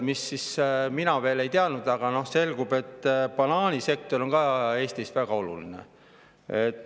Ma varem seda ei teadnud, aga selgub, et banaanisektor on ka Eestis väga oluline.